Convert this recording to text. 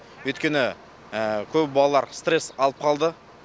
өйткені көп балалар стресс алып қалды